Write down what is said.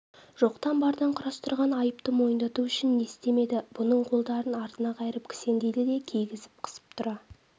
жоқтан-бардан құрастырған айыпты мойындату үшін не істемеді бұның қолдарын артына қайырып кісендейді де кигізіп қысып тұра